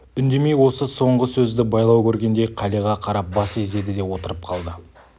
үндемей осы соңғы сөзді байлау көргендей қалиға қарап бас изеді де отырып қалды